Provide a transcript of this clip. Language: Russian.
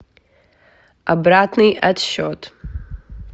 обратный отсчет